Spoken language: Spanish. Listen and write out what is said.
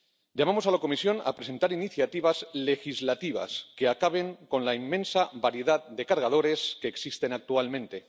Llamamos a la Comisión a presentar iniciativas legislativas que acaben con la inmensa variedad de cargadores que existen actualmente.